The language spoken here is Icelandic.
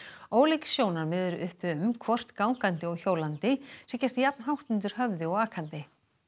ólík sjónarmið eru uppi um hvort gangandi og hjólandi sé gert jafn hátt undir höfði og akandi